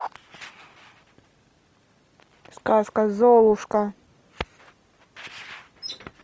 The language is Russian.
сказка золушка